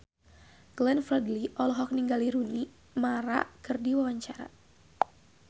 Glenn Fredly olohok ningali Rooney Mara keur diwawancara